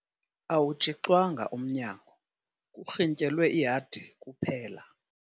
Awutshixwanga umnyango kurhintyelwe ihadi kuphela.